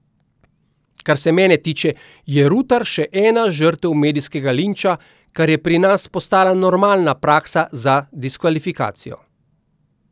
Kar se mene tiče, je Rutar še ena žrtev medijskega linča, kar je pri nas postala normalna praksa za diskvalifikacijo.